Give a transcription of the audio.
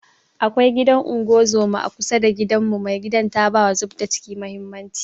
Akwai gidan unguzuma a kusa da gidanmu, mai gidan ta bawa zubda kici mahimmanci